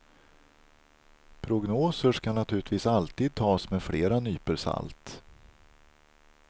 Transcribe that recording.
Prognoser ska naturligtvis alltid tas med flera nypor salt.